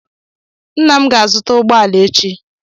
Ńnà m ga-azuta ụgbọala echi.